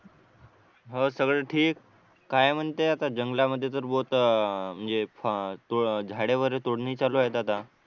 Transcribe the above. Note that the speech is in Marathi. हो सगळं ठीक काय म्हणते आता जंगलामध्ये बहुत अह म्हणजे अह झाडे वगैरे तोडणी चालू आहेत आता